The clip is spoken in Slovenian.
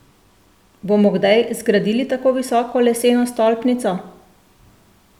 Bomo kdaj zgradili tako visoko leseno stolpnico?